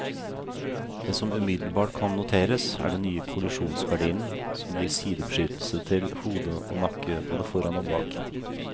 Det som umiddelbart kan noteres, er den nye kollisjonsgardinen, som gir sidebeskyttelse til hode og nakke både foran og bak.